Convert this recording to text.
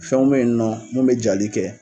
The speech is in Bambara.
Fɛnw be yen nɔ, mun be jali kɛ.